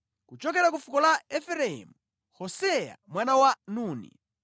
kuchokera ku fuko la Efereimu, Hoseya mwana wa Nuni;